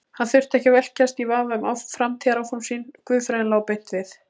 Hann þurfti ekki að velkjast í vafa um framtíðaráform sín, guðfræðin lá beint við.